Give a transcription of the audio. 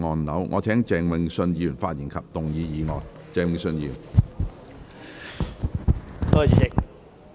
我請鄭泳舜議員發言及動議議案。